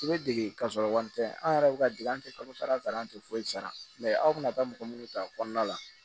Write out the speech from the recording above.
I bɛ dege ka sɔrɔ wari tɛ an yɛrɛ bɛ ka dege an tɛ kalo sara sara an tɛ foyi sara aw bɛna taa mɔgɔ minnu ta kɔnɔna la